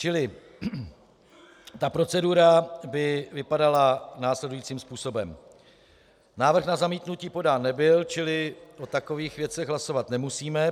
Čili ta procedura by vypadala následujícím způsobem: Návrh na zamítnutí podán nebyl, čili o takových věcech hlasovat nemusíme.